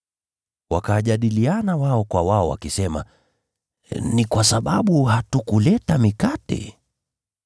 Wakajadiliana wao kwa wao, wakisema, “Ni kwa sababu hatukuleta mikate.”